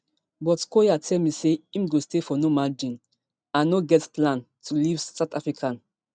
but collyer tell me say im go stay for normandein and no get plan to leave south africa